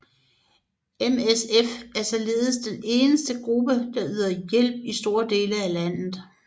MSF er således den eneste gruppe der yder hjælp i store dele af landet